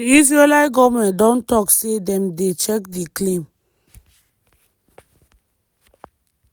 di israeli goment don tok say dem dey check di claim.